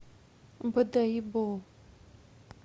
бодайбо